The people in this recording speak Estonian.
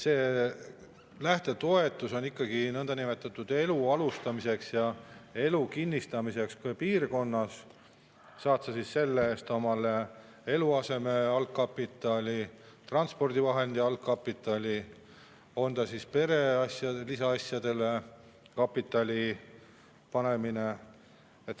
Lähtetoetus on ikkagi niinimetatud elu alustamiseks ja enda elu kinnistamiseks selles piirkonnas, saad sa siis selle eest eluaseme jaoks algkapitali, transpordivahendi jaoks algkapitali või saad kapitali muude pereasjade jaoks.